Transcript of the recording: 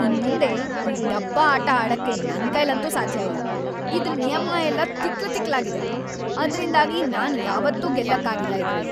ಇನ್ಮುಂದೆ ಈ ಡಬ್ಬಾ ಆಟ ಆಡಕ್ಕೆ ನನ್ಕೈಲಂತೂ ಸಾಧ್ಯ ಇಲ್ಲ. ಇದ್ರ್ ನಿಯಮ ಎಲ್ಲ ತಿಕ್ಲು ತಿಕ್ಲಾಗಿದೆ.. ಅದ್ರಿಂದಾಗಿ ನಾನ್‌ ಯಾವತ್ತೂ ಗೆಲ್ಲಕ್ಕಾಗಿಲ್ಲ ಇದ್ರಲ್ಲಿ.